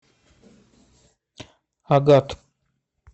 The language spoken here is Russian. агат